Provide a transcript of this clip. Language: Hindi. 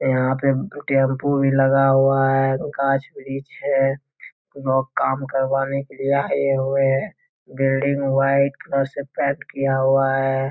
यहाँ पे टेंपो भी लगा हुआ है। गाछ-वृक्ष है। लोग काम करवाने के लिए आए हुए हैं। बिल्डिंग व्हाइट कलर से पेंट किया हुआ है।